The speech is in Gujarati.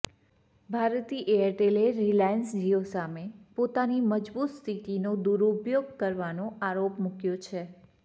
ભારતી એરટેલે રિલાયન્સ જીઓ સામે પોતાની મજબૂત સ્થિતિનો દુરુપયોગ કરવાનો આરોપ મૂક્યો છે